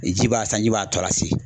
Ji b'a sanji b'a tɔ lase.